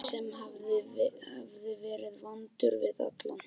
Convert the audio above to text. Manni sem hafði verið vondur við alla.